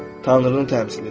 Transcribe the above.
Tanrını təmsil edir.